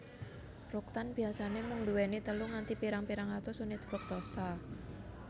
Fruktan biasane mung duweni telu nganti pirang pirang atus unit fruktosa